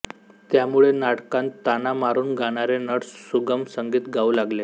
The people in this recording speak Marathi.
त्यामुळे नाटकांत ताना मारून गाणारे नट सुगम संगीत गाऊ लागले